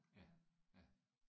Ja ja